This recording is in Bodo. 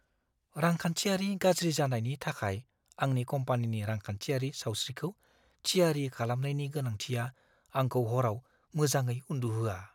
रांखान्थियारि गाज्रि जानायनि थाखाय आंनि कम्पानिनि रांखान्थियारि सावस्रिखौ थियारि खालामनायनि गोनांथिया आंखौ हराव मोजाङै उन्दुहोआ।